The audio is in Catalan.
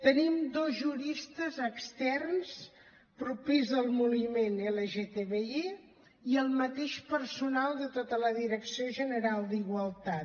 tenim dos juristes externs propers al moviment lgtbi i el mateix personal de tota la direcció general d’igualtat